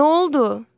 Nə oldu?